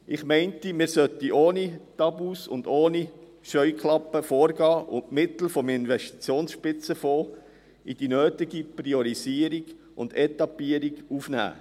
Ich bin der Meinung, man sollte ohne Tabus und Scheuklappen vorgehen und die Mittel des Investitionsspitzenfonds in die nötige Priorisierung und Etappierung aufnehmen.